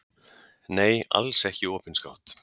Nei, alls ekki opinskátt.